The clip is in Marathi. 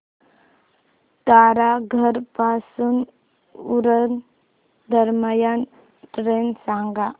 तारघर पासून उरण दरम्यान ट्रेन सांगा